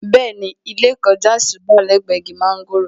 Bẹ́ẹ̀ni, ẹ̀gbẹ́ ilé ìkọjásí wà lẹ́gbẹ̀ẹ́ igi mọ́ńgòrò